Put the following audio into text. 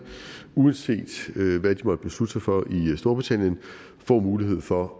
uanset hvad de måtte beslutte sig for i storbritannien får mulighed for